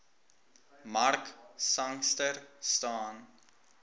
mark sangster staan